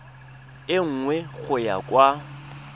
e nngwe go ya kwa